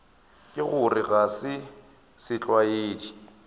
ka gore ga se setlwaedi